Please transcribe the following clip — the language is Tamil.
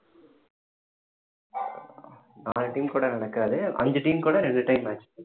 நாலு team கூட நடக்காது அஞ்சு team கூட ரெண்டு time match